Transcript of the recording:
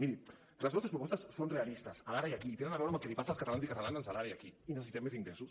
miri les nostres propostes són realistes de l’ara i aquí i tenen a veure amb el que els passa als catalans i catalanes en l’ara i aquí i necessitem més ingressos